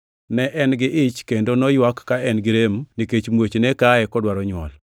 Ne en-gi ich, kendo noywak ka en girem nikech muoch ne kaye kodwaro nywol.